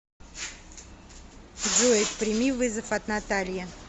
джой прими вызов от натальи